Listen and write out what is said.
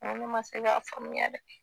N go ne ma se k'a faamuya dɛ